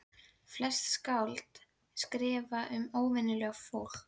Flest skáld skrifa um óvenjulegt fólk.